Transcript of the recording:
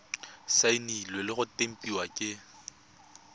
saenilwe le go tempiwa ke